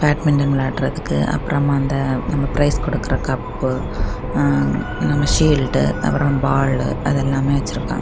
Badminton விளையாடறதுக்கு அப்பறம் அந்த நம்ம ப்ரைஸ் குடுக்கற கப்பு அஅ நாம்ம ஷீல்டு அப்ரோ பாலு அது எல்லாமே வெச்சுருக்காங்க.